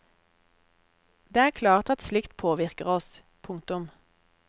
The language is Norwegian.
Det er klart at slikt påvirker oss. punktum